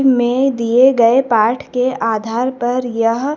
में दिए गए पाठ के आधार पर यह--